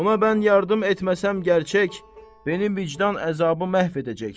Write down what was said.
Ona mən yardım etməsəm gərçək, mənim vicdan əzabı məhv edəcək.